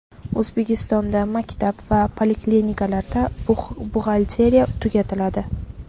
O‘zbekistonda maktab va poliklinikalarda buxgalteriya tugatiladi .